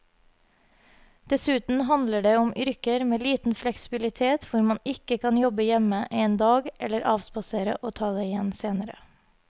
Dessuten handler det om yrker med liten fleksibilitet hvor man ikke kan jobbe hjemme en dag eller avspasere og ta det igjen senere.